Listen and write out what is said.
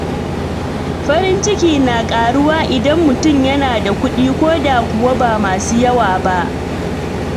Farin ciki na ƙaruwa idan mutum yana da kuɗi ko da kuwa ba masu yawa ba.